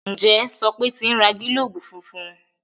Njé Sope n ti rà gilobu fúnfún?